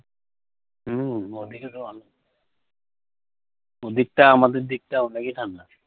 হুম ওদিকে তো অ ওদিকটা আমাদের দিকটা অনেকই ঠান্ডা।